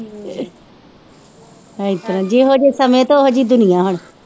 ਇਸ ਤਰ੍ਹਾਂ ਜਿਹੋ ਜਿਹੇ ਸਮੇਂ ਤੇ ਉਹ ਜਿਹੀ ਦੁਨੀਆਂ ਹੁਣ।